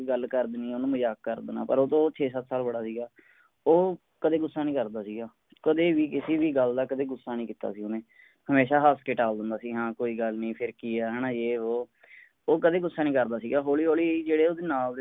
ਗੱਲ ਕਰ ਦੇਣੀ ਓਹਨੂੰ ਮਜ਼ਾਕ ਕਰ ਦੇਣਾ ਪਰ ਉਹ ਓਹਦੇ ਤੋਂ ਛੇ ਸੱਤ ਸਾਲ ਬੜਾ ਸੀਗਾ ਉਹ ਕਦੇ ਗੁੱਸਾ ਨਹੀਂ ਕਰਦਾ ਸੀਗਾ ਕਦੇ ਵੀ ਕਿਸੀ ਵੀ ਗੱਲ ਦਾ ਕਦੇ ਗੁੱਸਾ ਨਹੀਂ ਕੀਤਾ ਸੀ ਓਹਨੇ ਹਮੇਸ਼ਾਂ ਹਸ ਕੇ ਟਾਲ ਦਿੰਦਾ ਸੀ ਹਾਂ ਕੋਈ ਗੱਲ ਨਹੀਂ ਫੇਰ ਕੀ ਹੈ ਹੈਨਾ ਏ ਵੋ ਉਹ ਕਦੇ ਗੁੱਸਾ ਨਹੀਂ ਕਰਦਾ ਸੀਗਾ ਹੋਲੀ ਹੋਲੀ ਜਿਹੜੇ ਓਹਦੇ ਨਾਲ ਦੇ